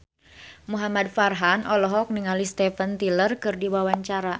Muhamad Farhan olohok ningali Steven Tyler keur diwawancara